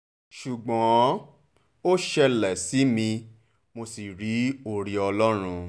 ṣùgbọ́n ó ṣẹlẹ̀ sí mi mo sì rí oore ọlọ́run